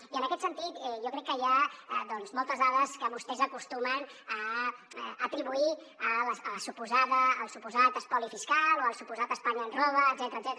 i en aquest sentit jo crec que hi ha doncs moltes dades que vostès acostumen a atribuir al suposat espoli fiscal o al suposat espanya ens roba etcètera